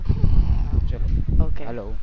hello